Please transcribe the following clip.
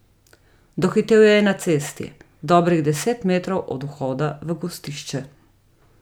Dohitel jo je na cesti, dobrih deset metrov od vhoda v gostišče.